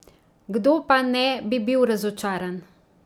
Kdo pa ne bi bil razočaran!